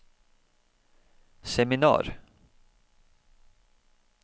seminar